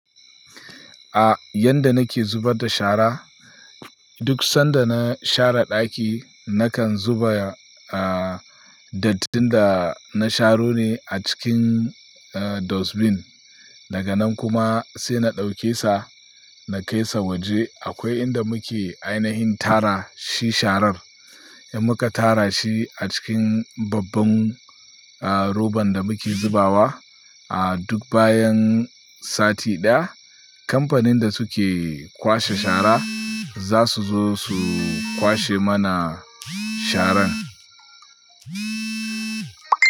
A, yanda nake zubar da shara, duk sanda na share ɗaki nakan zuba, a, dattin da na sharo ne a cikin, e, dustbin. Daga nan kuma sai na ɗauke sa, na kai sa waje akwai inda muke ainihin tara shi sharar. Muka tara shi a cikin babban, a, roban da muke zubawa. A duk bayan sati ɗaya kamfanin da suke kwashe shara za su zo su kwashe mana sharan.